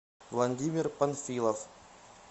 владимир панфилов